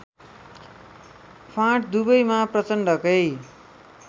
फाँट दुवैमा प्रचण्डकै